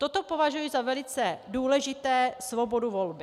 Toto považuji za velice důležité - svobodu volby.